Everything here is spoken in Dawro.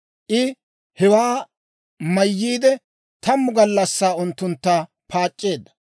I hewaa mayyiide, tammu gallassaa unttuntta paac'c'eedda.